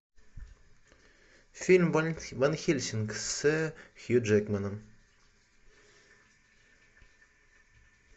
фильм ван хельсинг с хью джекманом